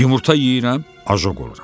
Yumurta yeyirəm, ajoq oluram.